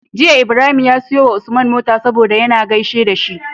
Jiya Ibrahim ya siyo wa Usman mota saboda yAna gaishe da shi